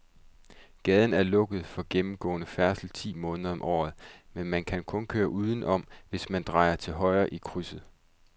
Gaden er lukket for gennemgående færdsel ti måneder om året, men man kan køre udenom, hvis man drejer til højre i krydset.